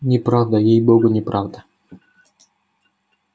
неправда ей-богу неправда